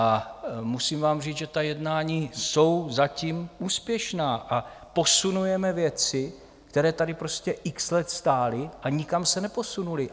A musím vám říct, že ta jednání jsou zatím úspěšná a posunujeme věci, které tady prostě x let stály a nikam se neposunuly.